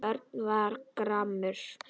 Örn varð gramur.